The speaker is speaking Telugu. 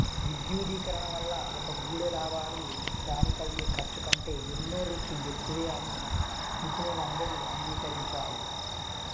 విద్యుదీకరణ వల్ల ఒకగూడే లాభాలు దానికయ్యే ఖర్చు కంటే ఎన్నో రెట్లు ఎక్కువే అని నిపుణులందరూ అంగీకరించారు